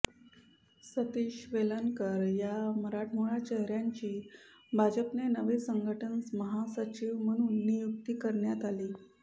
सतीश वेलणकर या मराठमोळ्या चेहऱ्याची भाजपचे नवे संघटन महासचिव म्हणून नियुक्ती करण्यात आली